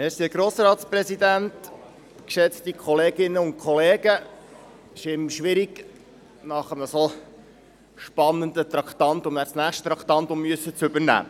Es ist immer schwierig, nach einem solch spannenden Traktandum, das nächste übernehmen zu müssen.